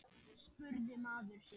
spurði maður sig.